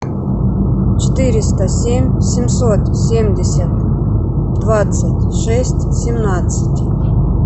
четыреста семь семьсот семьдесят двадцать шесть семнадцать